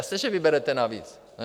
Jasně že vyberete navíc, ne?